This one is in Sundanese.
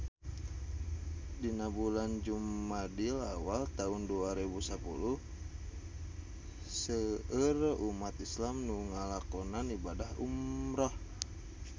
Dina bulan Jumadil awal taun dua rebu sapuluh seueur umat islam nu ngalakonan ibadah umrah